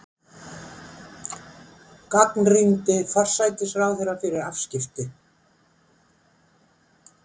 Gagnrýndi forsætisráðherra fyrir afskipti